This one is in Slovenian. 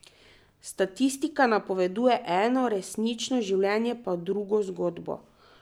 Statistika pripoveduje eno, resnično življenje pa drugo zgodbo.